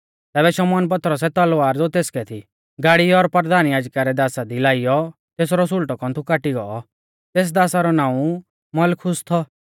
तैबै शमौन पतरसै तलवार ज़ो तेसकै थी गाड़ी और परधान याजका रै दासा दी लाइऔ तेसरौ सुल़टौ कौन्थु काटी गौ तेस दासा रौ नाऊं मलखुस थौ